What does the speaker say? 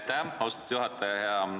Aitäh, austatud juhataja!